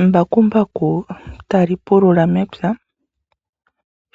Embakumbaku tali pulula mepya